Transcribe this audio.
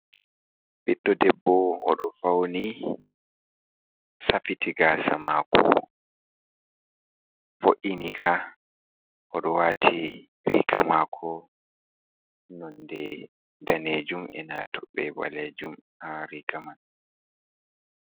Ɓiɗɗo debbow o ɗo fauni, safiti gasa mako, vo’iinika, o ɗo wati riga mako nonde danejum, ena toɓɓe ɓalejum ha riga man.